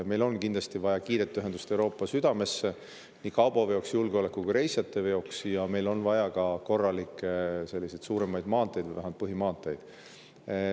Meil on kindlasti vaja kiiret ühendust Euroopa südamega nii kaubaveoks, reisijateveoks kui ka julgeoleku ja meil on vaja ka korralikke suuremaid maanteid või vähemalt põhimaanteid.